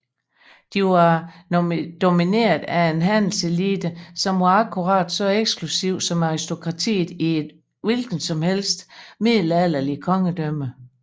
De var domineret af en handelselite som var akkurat så eksklusiv som aristokratiet i et hvilket som helst middelalderligt kongedømme